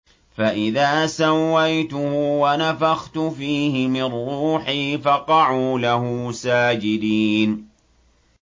فَإِذَا سَوَّيْتُهُ وَنَفَخْتُ فِيهِ مِن رُّوحِي فَقَعُوا لَهُ سَاجِدِينَ